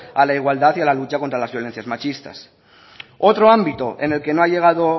a la igualdad y a lucha contra las violencias machistas otro ámbito en el que no ha llegado